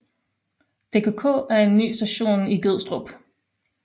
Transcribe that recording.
DKK til en ny station i Gødstrup